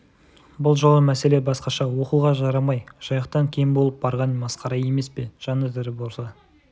бұл жолы мәселе басқаша оқуға жарамай жайықтан кем болып барған масқара емес пе жаны тірі болса